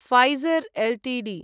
Pfizer Ltd